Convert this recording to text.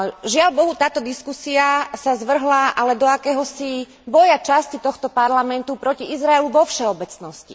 Žiaľbohu táto diskusia sa zvrhla ale do akéhosi boja časti tohto Parlamentu proti Izraelu vo všeobecnosti.